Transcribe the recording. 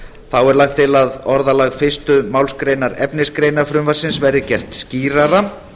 þá er lagt til að orðalag fyrstu málsgrein efnisgreinar frumvarpsins verði gert skýrara